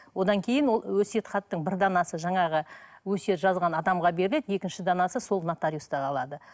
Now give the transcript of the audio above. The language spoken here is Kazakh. одан кейін ол өсиет хаттың бір данасы жаңағы өсиет жазған адамға беріледі екінші данасы сол нотаруиста қалады